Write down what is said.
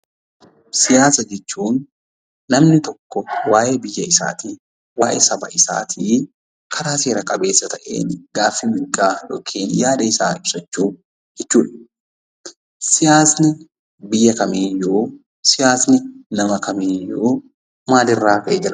Siyaasa jechuun namni tokko waa'ee biyya isaatii fi saba isaatii karaa seera qabeessa ta'een gaafii mirgaa yookiin yaada isaa ibsachuu jechuudha. Siyaasni biyya yookiin nama kamiiyyuu maal irraa madde?